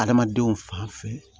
Adamadenw fan fɛ